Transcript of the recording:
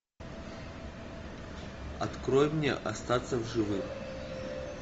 открой мне остаться в живых